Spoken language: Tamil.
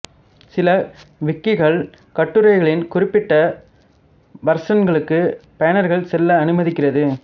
சில விக்கிகள் கட்டுரைகளின் குறிப்பிட்ட வர்ஷன்களுக்கு பயனர்கள் செல்ல அனுமதிக்கிறது